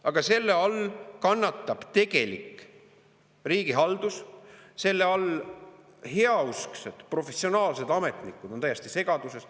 Aga selle all kannatab tegelik riigihaldus, heausksed professionaalsed ametnikud on täiesti segaduses.